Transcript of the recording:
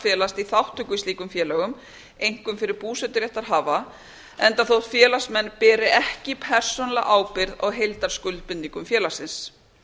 felast í þátttöku í slíkum félögum einkum fyrir búseturéttarhafa enda þótt félagsmenn beri ekki persónulega ábyrgð á heildarskuldbindingum félagsins